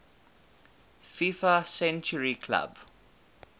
fifa century club